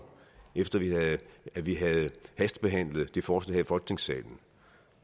efter at vi havde hastebehandlet det forslag her i folketingssalen